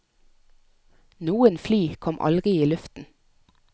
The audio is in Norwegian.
Noen fly kom aldri i luften.